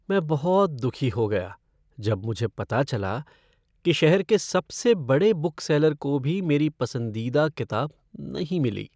मैं बहुत दुखी हो गया जब मुझे पता चला कि शहर के सबसे बड़े बुक सेलर को भी मेरी पसंदीदा किताब नहीं मिली।